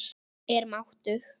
Er máttug.